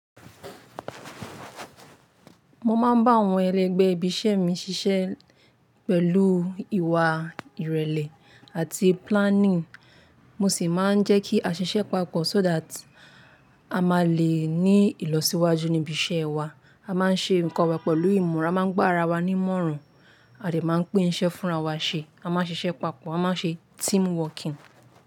Mo máa ń bá àwọn ẹlẹgbẹ́ ibi iṣẹ́ mi ṣiṣẹ́ pẹ̀lú ìwà ìrẹ̀lẹ̀ àti planning. Mo sì máa ń jẹ́ kí a ṣiṣẹ́ papọ̀ so that à máa lè ní ìlọsíwájú níbi iṣẹ́ wa. À máa ń ṣe nǹkan wà pẹ̀lú ìmọ̀ràn, a máa ń gbó ara wa ní ìmọ̀ràn, a dè máa ń pín iṣẹ́ fúnra wa ṣe, a máa ń ṣiṣẹ́ papọ̀, a máa ń ṣe team working.